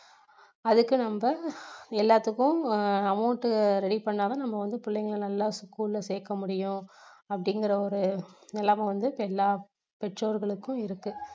அதுக்கு நம்ப எல்லாத்துக்கும் ஆஹ் amount ready பண்ணா தான் நம்ம வந்து பிள்ளைங்களை நல்லா school ல சேர்க்க முடியும் அப்படிங்கிற ஒரு நிலைமை வந்து எல்லா பெற்றோர்களுக்கும் இருக்கு